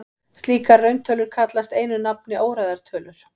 Slíkar rauntölur kallast einu nafni óræðar tölur.